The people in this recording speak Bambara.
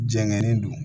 Jɛngɛnen don